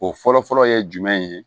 O fɔlɔfɔlɔ ye jumɛn ye